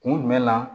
Kun jumɛn na